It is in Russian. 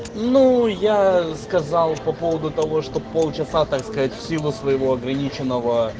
ну я сказал по поводу того чтоб полчаса так сказать в силу своего ограниченного